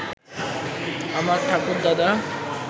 আমার ঠাকুরদাদা